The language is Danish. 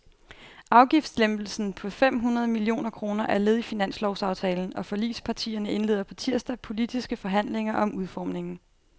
Afgiftslempelsen på fem hundrede millioner kroner er led i finanslovsaftalen, og forligspartierne indleder på tirsdag politiske forhandlinger om udformningen.